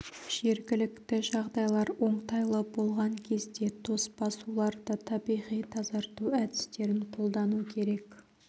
жергілікті жағдайлар оңтайлы болған кезде тоспа суларды табиғи тазарту әдістерін қолдану керек